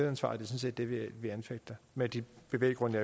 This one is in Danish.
er sådan set det vi anfægter med de bevæggrunde